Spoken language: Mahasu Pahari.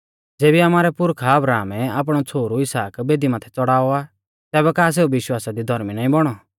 ज़ेबी आमारै पुरखा अब्राहमै आपणौ छ़ोहरु इसहाक बेदी माथै च़ड़ाऔ आ तैबै का सेऊ विश्वासा दी धौर्मी नाईं बौणौ